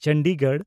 Chandigarh